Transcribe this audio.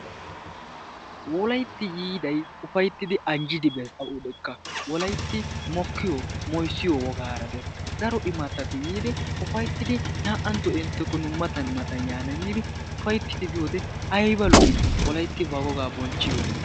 Wolaytti yiidayi ufayttidi anjjidi bes awudekka wolaytti mokkiyo moyssiyo wogaara des daro imattati yiidi ufayttidi naa"antto nu inttekko matan matan yaana giidi ufayttidi biyode ayba lo"ii wolaytti ba wogaa bonchhchiyode.